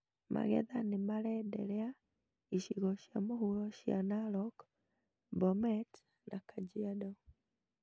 Magetha nĩmarenderea icigo cia mũhuro cia Narok, Bomet, na Kajiado